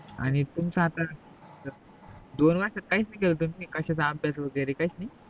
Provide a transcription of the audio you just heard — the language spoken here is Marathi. आणि तू, मचा आता दोन वर्ष काहीच नाही केल तुम्ही कासयाचा अभ्यास वगेरे काहीच नाही